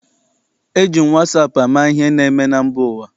Eji m wasaapụ ama ihe na-eme na mba ụwa.